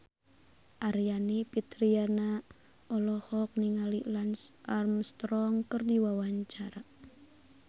Aryani Fitriana olohok ningali Lance Armstrong keur diwawancara